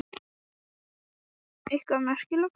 Eitthvað merkilegt?